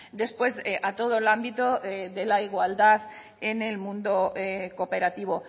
después a todo el ámbito de la igualdad en el mundo cooperativo